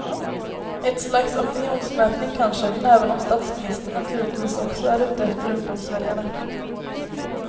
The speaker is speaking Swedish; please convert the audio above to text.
Ett slags opinionsmätning kanske, även om statsministern naturligtvis också är ute efter ungdomsväljarna.